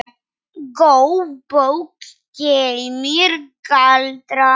Góð bók geymir galdra.